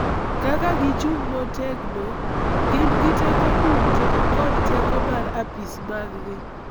Kaka gichung� motegno, gin gi teko duto kod teko mar Apis maggi